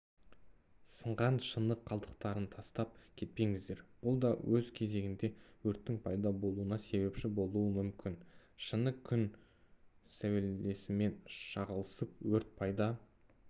сыңған шыны қалдықтарын тастап кетпеңіздер бұл да өз кезегінде өрттің пайда болуына себепші болуы мүмкін шыны күн сәулесімен шағылысып өрт пайда